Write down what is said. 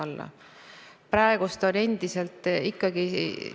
Aga see meie suunda ei muuda, meie järgime Euroopa Liidus otsustatud ja kehtestatud suundasid.